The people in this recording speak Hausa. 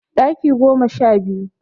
Ɗaki goma sha biyu